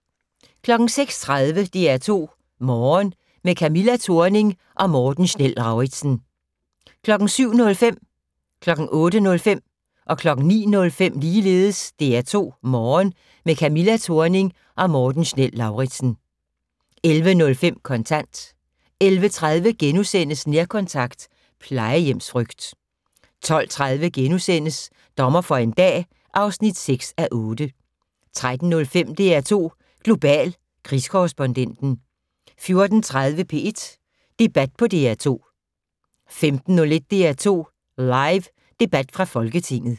06:30: DR2 Morgen - med Camilla Thorning og Morten Schnell-Lauritzen 07:05: DR2 Morgen - med Camilla Thorning og Morten Schnell-Lauritzen 08:05: DR2 Morgen - med Camilla Thorning og Morten Schnell-Lauritzen 09:05: DR2 Morgen - med Camilla Thorning og Morten Schnell-Lauritzen 11:05: Kontant 11:30: Nærkontakt - plejehjemsfrygt * 12:30: Dommer for en dag (6:8)* 13:05: DR2 Global: Krigskorrespondenten 14:30: P1 Debat på DR2 15:01: DR2 Live: Debat fra folketinget